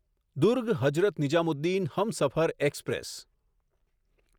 Durg Hazrat Nizamuddin Humsafar express